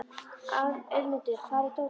Auðmundur, hvar er dótið mitt?